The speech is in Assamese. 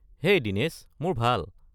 হেই দিনেশ! মোৰ ভাল।